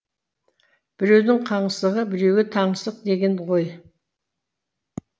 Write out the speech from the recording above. біреудің қаңсығы біреуге таңсық деген ғой